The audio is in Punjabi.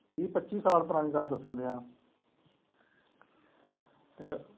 ਵੀਹ ਪੱਚੀ ਸਾਲ ਪੁਰਾਣੀ ਗੱਲ ਦੱਸਣ ਡਿਆਂ